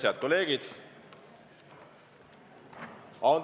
Head kolleegid!